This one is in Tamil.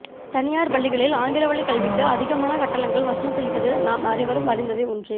தனியார் பள்ளிகளில் ஆங்கிலவழி கல்விக்கு அதிகமான கட்டணங்கள் வசூல் செய்வது நாம் அனைவரும் அறிந்ததே ஒன்றே